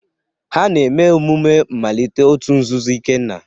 Ha na-eme emume mmalite òtù nzuzo Ikenna.